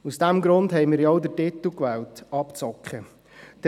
Aus diesem Grund haben wir denn auch den Titel «Abzocke» gewählt.